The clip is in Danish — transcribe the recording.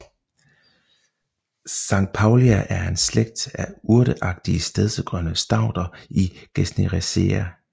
Saintpaulia er en slægt af urteagtige stedsegrønne stauder i Gesneriaceae